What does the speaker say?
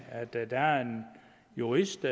at der er en jurist